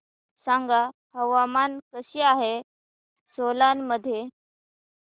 सांगा हवामान कसे आहे सोलान मध्ये